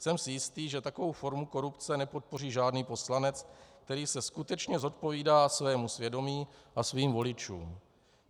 Jsem si jistý, že takovou formu korupce nepodpoří žádný poslanec, který se skutečně zodpovídá svému svědomí a svým voličům.